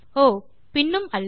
ஓ பின்னும் அல்ல